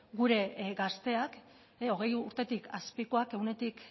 gure gazteak hogei urtetik azpikoak ehuneko